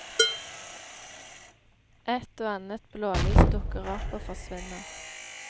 Ett og annet blålys dukker opp og forsvinner.